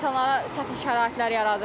İnsanlara çətin şəraitlər yaradır.